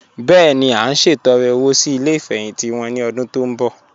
Bẹ́ẹ̀ni, à n ṣẹtọ̀rẹ́ owo sí ilẹ̀ ifẹ́hìntì wọn ni ọ̀dún tó nbọ̀.